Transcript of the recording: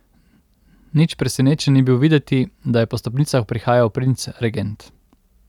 Nič presenečen ni bil videti, da je po stopnicah prihajal princ regent.